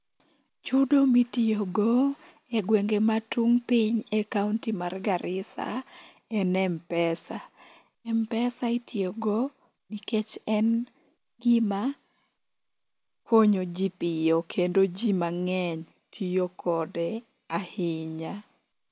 Chudo mitiyogo e gwenge ma tung' piny e kaonti mar Garissa en M-pesa. M-pesa itiyogo nikech en gima konyoji piyo kendo ji mang'eny tiyo kode ahinya.